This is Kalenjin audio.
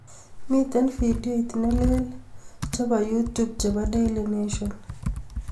Miten vidioit neleel chebo youtube chebo Daily Nation